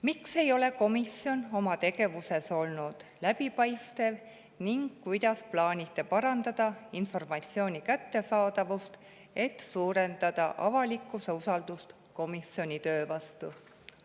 Miks ei ole komisjon oma tegevuses olnud läbipaistev ning kuidas plaanite parandada informatsiooni kättesaadavust, et suurendada avalikkuse usaldust komisjoni töö vastu?